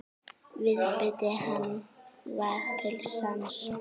Viðbiti hann var til sanns.